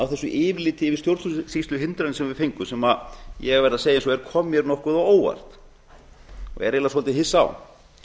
á þessu yfirliti yfir stjórnsýsluhindrun sem við fengum sem ég verð að segja eins og er kom mér nokkuð á óvart og er eiginlega svolítið hissa á